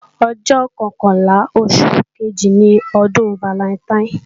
Ọjọ́ kọkànlá oṣù kejì ni ọdún falantaín